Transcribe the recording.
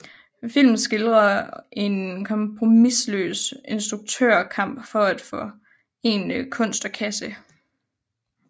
Filmen skildrer en kompromisløs instruktørs kamp for at forene kunst og kasse